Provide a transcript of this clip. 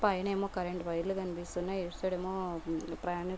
పైన ఏమో కరెంట్ వైర్లు కనిపిస్తున్నాయి. ఇటు సైడ్ ఏమో ప్రయాణికులు--